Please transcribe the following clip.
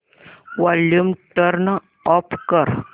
volume turn off कर